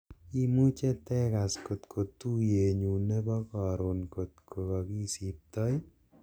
imuje itegas kotko tuyenyun nebo korun ng'ot ko kogisipto ii